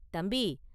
தம்பி!